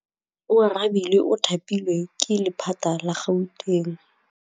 Oarabile o thapilwe ke lephata la Gauteng.